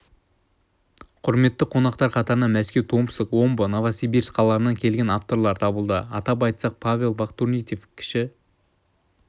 құрметті қонақтар қатарынан мәскеу томск омбы новосибирск қалаларынан келген авторлар табылды атап айтсақ павел фахрутдинов кіші